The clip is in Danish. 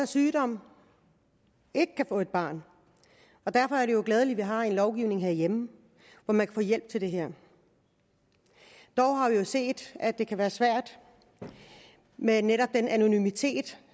sygdom ikke kan få et barn derfor er det glædeligt at vi har en lovgivning herhjemme hvor man kan få hjælp til det her dog har vi set at det kan være svært med netop den anonymitet